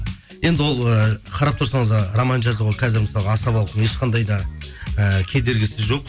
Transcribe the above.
енді ол ыыы қарап тұрсаңыз роман жазуға қазір мысалы асабалықтың ешқандай да ііі кедергісі жоқ